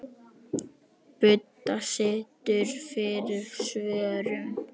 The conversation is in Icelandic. Budda situr fyrir svörum.